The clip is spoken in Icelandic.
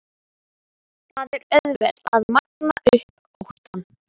Það er auðvelt að magna upp óttann.